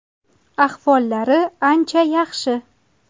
Ahvollari ancha yaxshi.